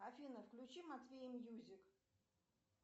афина включи матвея мьюзик